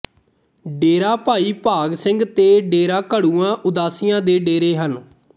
ਡੇਰਾ ਭਾਈ ਭਾਗ ਸਿੰਘ ਤੇ ਡੇਰਾ ਘੜੂਆਂ ਉਦਾਸੀਆਂ ਦੇ ਡੇਰੇ ਹਨ